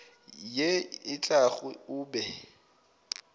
ye e tlago o be